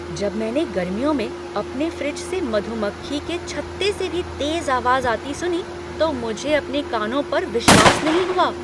जब मैंने गर्मियों में अपने फ्रिज से मधुमक्खी के छत्ते से भी तेज आवाज आती सुनी तो मुझे अपने कानों पर विश्वास नहीं हुआ!